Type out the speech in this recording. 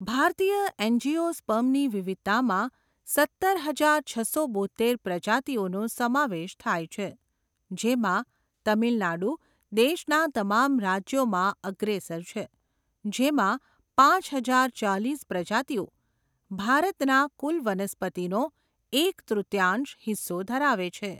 ભારતીય એન્જીયોસ્પર્મની વિવિધતામાં સત્તર હજાર છસો બોત્તેર પ્રજાતિઓનો સમાવેશ થાય છે. જેમાં તમિલનાડુ દેશના તમામ રાજ્યોમાં અગ્રેસર છે, જેમાં પાંચ હજાર ચાલીસ પ્રજાતિઓ ભારતના કુલ વનસ્પતિનો એક તૃતિયાંશ હિસ્સો ધરાવે છે.